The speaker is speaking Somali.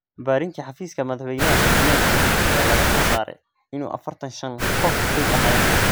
Barinki xafiska Madhaxweynah suubiyeen aya lakasosare inu afartaan shan qof fake axayeen.